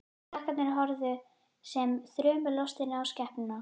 Krakkarnir horfðu sem þrumulostin á skepnuna.